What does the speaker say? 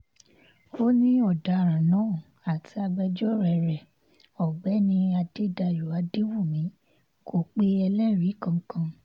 ó ní ọ̀daràn náà àti agbẹjọ́rò rẹ̀ ọ̀gbẹ́ni adédáyò adéwúmí kò pe ẹlẹ́rìí kankan